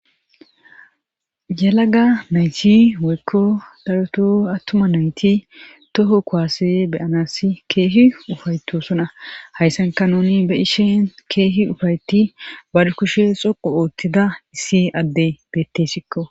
yelaga nayti woykko daroto attuma nayti toho kuwaase be7anassi keehi ufaytoosona hayssanka nuni be7ishin keehi ufayeti bari kushe xoqqu oottida issi addey beettesikko.